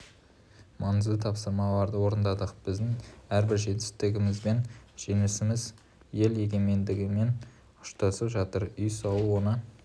маңызды тапсырыстарды орындадық біздің әрбір жетістігіміз бен жеңісіміз ел егемендігімен ұштасып жатыр үй салу оны